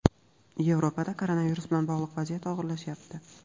Yevropada koronavirus bilan bog‘liq vaziyat og‘irlashyapti.